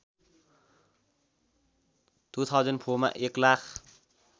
२००४ मा एक लाख